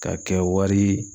Ka kɛ wari